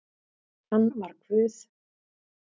Hann var Guð